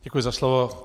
Děkuji za slovo.